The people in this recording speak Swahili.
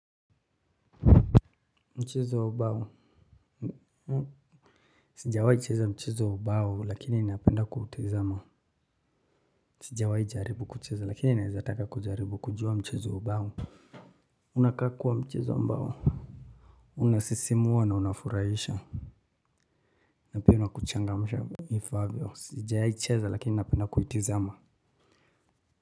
Mchezo wa ubao sijawahi cheza mchezo wa ubao lakini ninapenda kuutazama sijawahi jaribu kucheza lakini naweza taka kujaribu kujua mchezo wa ubao unakaa kuwa mchezo ambao unasisimua na unafurahisha na pia unakuchangamsha ifaavyo, sijawahi cheza lakini napenda kuitazama.